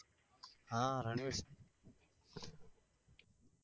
હા રણવીર સિંગ